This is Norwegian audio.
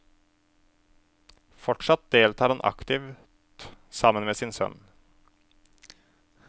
Fortsatt deltar han aktivt sammen med sin sønn.